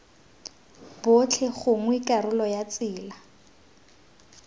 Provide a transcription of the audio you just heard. botlhe gongwe karolo ya tsela